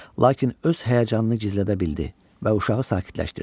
Lakin öz həyəcanını gizlədə bildi və uşağı sakitləşdirdi.